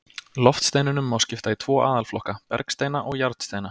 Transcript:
Loftsteinunum má skipta í tvo aðalflokka, bergsteina og járnsteina.